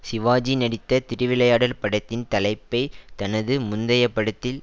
சிவாஜி நடித்த திருவிளையாடல் படத்தின் தலைப்பை தனது முந்தைய படத்தில்